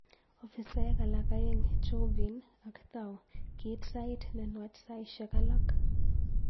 Ofisaek alak aeng, Chauvin ak Thao, kiit sait ne nwach saisiek alak